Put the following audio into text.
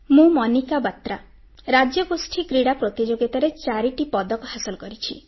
ମୁଁ ମନିକା ବାତ୍ରା ରାଜ୍ୟଗୋଷ୍ଠୀ କ୍ରୀଡ଼ା ପ୍ରତିଯୋଗିତାରେ 4ଟି ପଦକ ହାସଲ କରିଛି